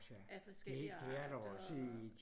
af forskellige arter og